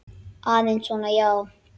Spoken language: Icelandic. Aðeins svona, já.